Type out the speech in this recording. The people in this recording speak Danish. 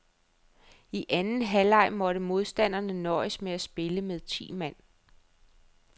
I anden halvleg måtte modstanderne nøjes med at spille med ti mand.